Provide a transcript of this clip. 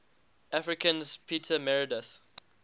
africans peter meredith